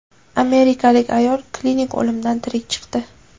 Amerikalik ayol klinik o‘limdan tirik chiqdi.